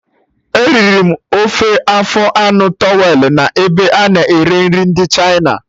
Eriri m ofe afọ anụ towelụ n'ebe a na-ere nri ndị Chịna